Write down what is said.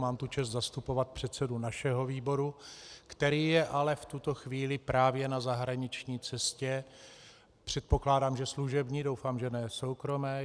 Mám tu čest zastupovat předsedu našeho výboru, který je ale v tuto chvíli právě na zahraniční cestě, předpokládám, že služební, doufám, že ne soukromé.